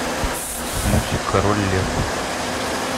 мультик король лев